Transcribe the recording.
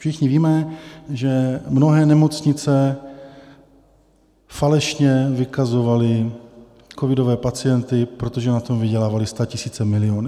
Všichni víme, že mnohé nemocnice falešně vykazovaly covidové pacienty, protože na tom vydělávaly statisíce, miliony.